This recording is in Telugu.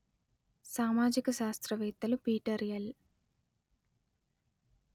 సామాజిక శాస్త్రవేత్తలు పీటర్ ఎల్